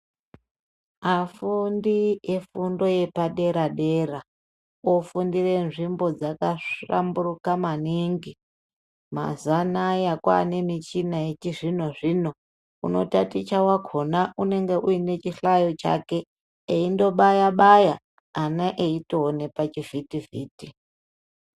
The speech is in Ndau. Afundi efundo yepadera dera ofundira nzimbo dzakahlamburuka maningi. Mazuwa anaya kwaanemichina yechizvino zvino . Unotaticha wakhona unenge aine chihlayo chake eindobaya baya ana eyitoone pachivhiti vhiti.